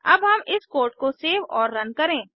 अब हम इस कोड को सेव और रन करें